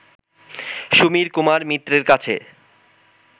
সমীর কুমার মিত্রের কাছে